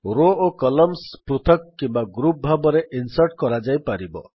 ରୋ ଓ କଲମ୍ସଗୁଡିକ ପୃଥକ କିମ୍ୱା ଗ୍ରୁପ୍ ଭାବରେ ଇନ୍ସର୍ଟ୍ କରାଯାଇପାରିବ